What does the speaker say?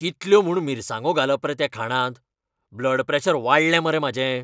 कितल्यो म्हूण मिरसांगो घालप रे त्या खाणांत? ब्लड प्रॅशर वाडलें मरे म्हाजें!